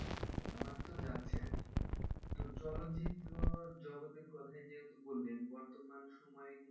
আমার তো যাচ্ছে আরকি। তো চলচ্চিত্র জগতের কথাই যেহেতু বললেন বর্তমান সময়ে,